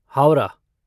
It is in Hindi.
होवराह